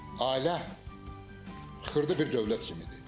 Ailə xırda bir dövlət kimidir.